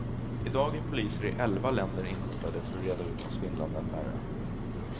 I dag är poliser i elva länder inkopplade för att reda ut de svindlande affärerna.